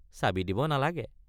চাবি দিব নালাগে।